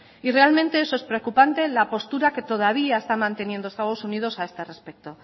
y realmente es preocupante la postura que todavía está manteniendo estados unidos a este respecto